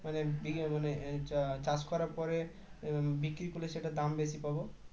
মানে উম এটা চাষ করার পরে উম বিক্রি করলে সেটার দাম বেশি পাব